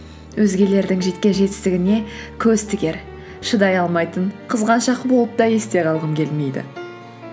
өзгелердің жеткен жетістігіне көз тігер шыдай алмайтын қызғаншақ болып та есте қалғым келмейді